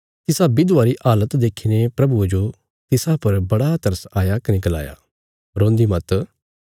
तिसा विधवा री हालत देखीने प्रभुये जो तिसा पर बड़ा तरस आया कने गलाया रोन्दी मत